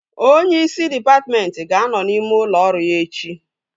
Onyeisi dịpatmentị ga-anọ n'ime ụlọ ọrụ ya echi